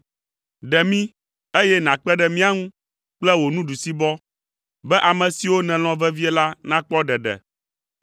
Ɖe mí, eye nàkpe ɖe mía ŋu kple wò nuɖusibɔ, be ame siwo nèlɔ̃ vevie la nakpɔ ɖeɖe.